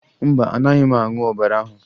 Mba, anaghị m aṅụ ọbara ahụ